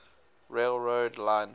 rail road line